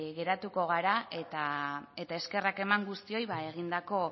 geratuko gara eta eskerrak eman guztioi egindako